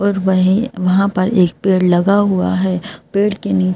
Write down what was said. और वहीं वहाँ पर एक पेड़ लगा हुआ है पेड़ के नीचे--